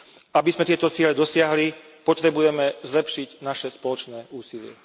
Aby sme tieto ciele dosiahli, potrebujeme zlepšiť naše spoločné úsilie.